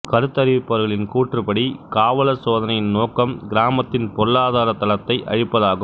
கருத்தறிவிப்பவர்களின் கூற்றுப்படி காவலர் சோதனையின் நோக்கம் கிராமத்தின் பொருளாதார தளத்தை அழிப்பதாகும்